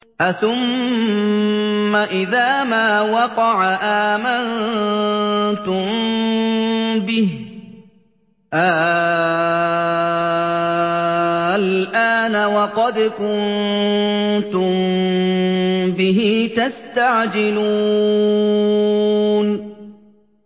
أَثُمَّ إِذَا مَا وَقَعَ آمَنتُم بِهِ ۚ آلْآنَ وَقَدْ كُنتُم بِهِ تَسْتَعْجِلُونَ